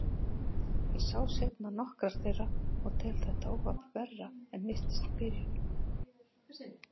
Ég sá seinna nokkrar þeirra og tel þetta óhapp verra en virtist í byrjun.